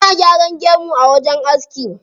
Ana gyaran gemu a wajen aski.